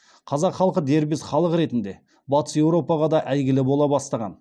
қазақ халқы дербес халық ретінде батыс европаға да әйгілі бола бастаған